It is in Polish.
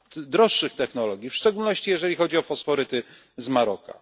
droższych technologii, w szczególności jeżeli chodzi o fosforyty z Maroka.